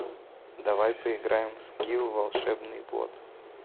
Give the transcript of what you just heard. давай поиграем в скил волшебный бот